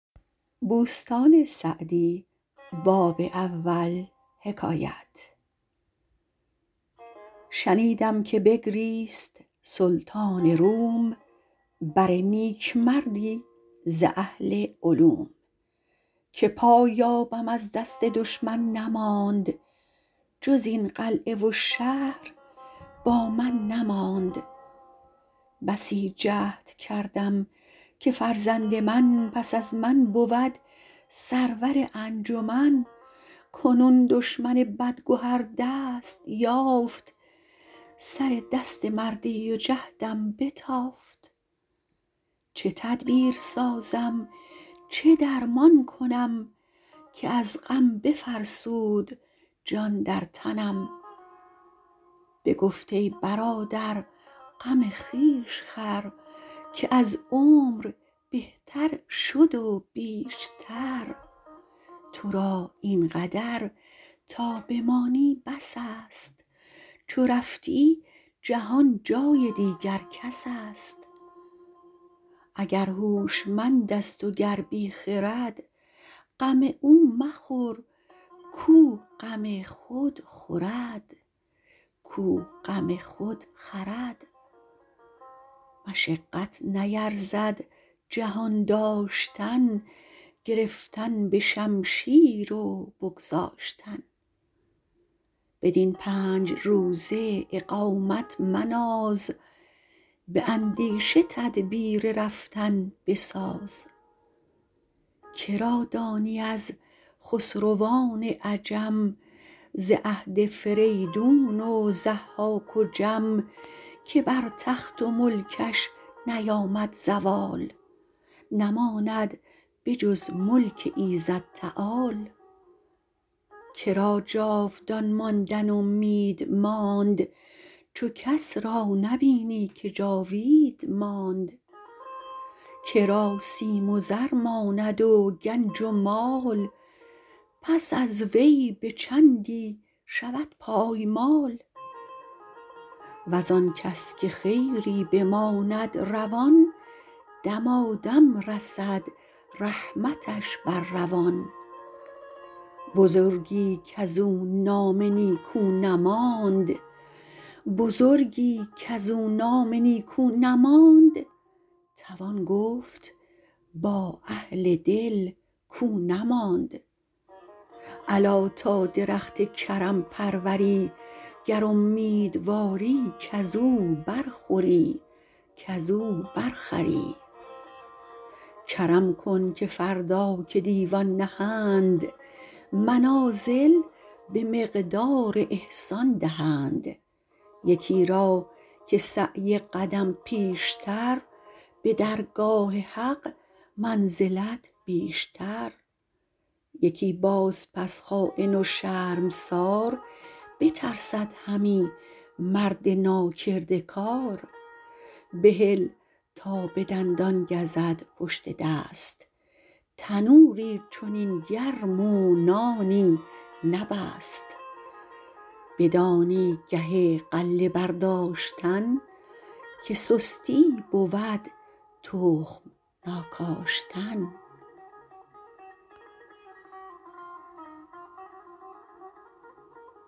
شنیدم که بگریست سلطان روم بر نیکمردی ز اهل علوم که پایابم از دست دشمن نماند جز این قلعه و شهر با من نماند بسی جهد کردم که فرزند من پس از من بود سرور انجمن کنون دشمن بدگهر دست یافت سر دست مردی و جهدم بتافت چه تدبیر سازم چه درمان کنم که از غم بفرسود جان در تنم بگفت ای برادر غم خویش خور که از عمر بهتر شد و بیشتر تو را این قدر تا بمانی بس است چو رفتی جهان جای دیگر کس است اگر هوشمند است و گر بی خرد غم او مخور کاو غم خود خورد مشقت نیرزد جهان داشتن گرفتن به شمشیر و بگذاشتن بدین پنج روزه اقامت مناز به اندیشه تدبیر رفتن بساز که را دانی از خسروان عجم ز عهد فریدون و ضحاک و جم که بر تخت و ملکش نیامد زوال نماند به جز ملک ایزد تعال که را جاودان ماندن امید ماند چو کس را نبینی که جاوید ماند که را سیم و زر ماند و گنج و مال پس از وی به چندی شود پایمال وز آن کس که خیری بماند روان دمادم رسد رحمتش بر روان بزرگی کز او نام نیکو نماند توان گفت با اهل دل کاو نماند الا تا درخت کرم پروری گر امیدواری کز او بر خوری کرم کن که فردا که دیوان نهند منازل به مقدار احسان دهند یکی را که سعی قدم پیشتر به درگاه حق منزلت بیشتر یکی باز پس خاین و شرمسار بترسد همی مرد ناکرده کار بهل تا به دندان گزد پشت دست تنوری چنین گرم و نانی نبست بدانی گه غله برداشتن که سستی بود تخم ناکاشتن